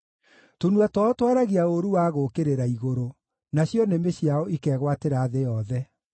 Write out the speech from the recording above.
Tũnua twao twaragia ũũru wa gũũkĩrĩra igũrũ, nacio nĩmĩ ciao ikegwatĩra thĩ yothe.